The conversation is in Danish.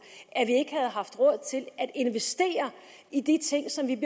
at at investere i de ting som vi